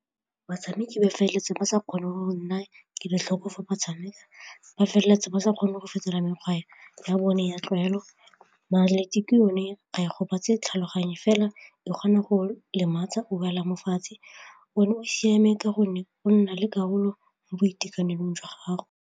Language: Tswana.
Batshameki ba feleletsa ba sa kgone go nna kelotlhoko fa ba tshameka, ba feleletsa ba sa kgone go fetola mekgwa ya bone ya tlwaelo yone ga a gobetse tlhaloganye fela e kgona go lematsa o boela mo fatshe, one o siame ka gonne o nna le karolo mo boitekanelong jwa gago.